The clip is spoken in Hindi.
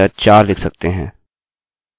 अभी मैं इस उद्देश्य के लिए लिमिटlimit 1 करूँगा